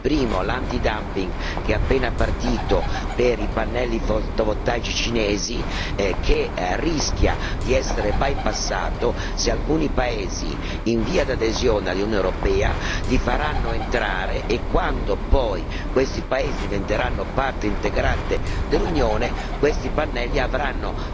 Primo l'antidumping, appena partito per i pannelli fotovoltaici cinesi, che rischia però di essere bypassato se alcuni paesi in via di adesione all'Unione europea li faranno entrare e quando poi questi paesi diventeranno parte integrante dell'Unione questi pannelli avranno